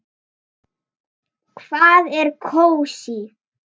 Hvað er kósí?